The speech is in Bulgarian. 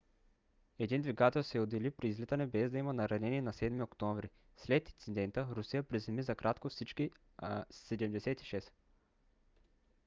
един двигател се отдели при излитане без да има наранени на 7 октомври. след инцидента русия приземи за кратко всички il-76